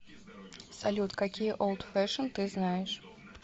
салют какие олд фешен ты знаешь